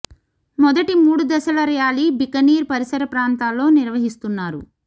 మొదటి మూడు దశల ర్యాలీ బికనీర్ పరిసర ప్రాంతాల్లో నిర్వహిస్తున్నారు